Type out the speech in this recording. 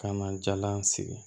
Ka na jalan sigi